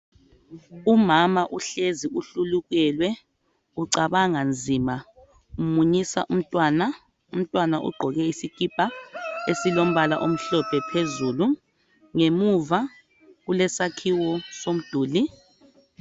Umama uhlezi uhlulukelwe ucabanga nzima, umunyisa umntwana. Umntwana ugqoke isikipa esilombala omhlophe phezulu. Ngemuva kulesakhiwo somduli.